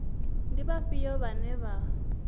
ndi vhafhio vhane vha nga